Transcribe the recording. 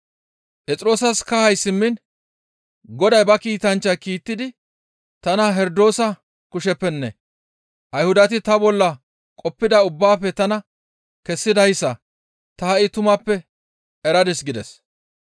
Phexroosas kahay simmishin, «Goday ba kiitanchcha kiittidi tana Herdoosa kusheppenne Ayhudati ta bolla qoppida ubbaafe tana kessidayssa ta ha7i tumappe eradis» gides.